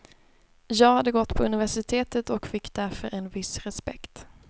Jag hade gått på universitetet och fick därför en viss respekt.